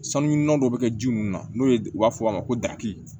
Sanuyininnɔn dɔ bɛ kɛ ji mun na n'o ye u b'a fɔ a ma ko daki